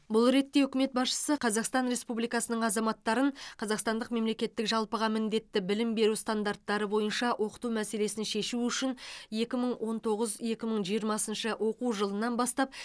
бұл ретте үкімет басшысы қазақстан республикасының азаматтарын қазақстандық мемлекеттік жалпыға міндетті білім беру стандарттары бойынша оқыту мәселесін шешу үшін екі мың он тоғыз екі мың жиырмасыншы оқу жылынан бастап